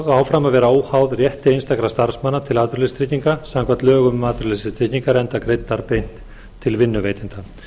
áfram að vera óháðar rétti einstakra starfsmanna til atvinnuleysistrygginga samkvæmt lögum um atvinnuleysistryggingar enda greiddar beint til vinnuveitanda